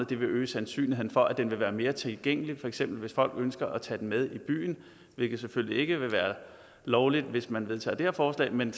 det vil øge sandsynligheden for at den vil være mere tilgængelig for eksempel hvis folk ønsker at tage den med i byen det vil selvfølgelig ikke være lovligt hvis man vedtager det her forslag men